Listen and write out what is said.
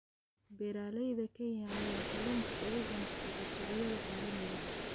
Beeralayda Kenya ayaa kalluunka uga ganacsata suuqyada caalamiga ah.